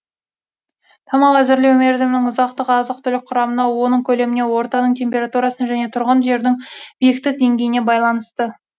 тамақ әзірлеу мерзімінің ұзақтығы азық түлік құрамына оның көлеміне ортаның температурасына және тұрған жердің биіктік деңгейіне байланысты